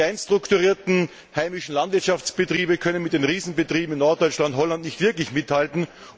Die klein strukturierten heimischen Landwirtschaftsbetriebe können mit den Riesenbetrieben in Norddeutschland und Holland nicht wirklich mithalten.